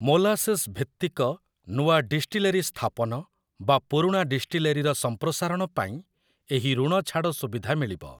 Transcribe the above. ମୋଲାସେସ୍‌‌ଭିତ୍ତିକ ନୂଆ ଡିଷ୍ଟିଲେରୀ ସ୍ଥାପନ ବା ପୁରୁଣା ଡିଷ୍ଟିଲେରୀର ସଂପ୍ରସାରଣ ପାଇଁ ଏହି ଋଣଛାଡ଼ ସୁବିଧା ମିଳିବ ।